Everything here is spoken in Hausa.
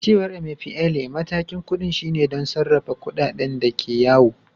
A cewar Emefiele, matakin kudin shine don sarrafa kudaden da ke yawo.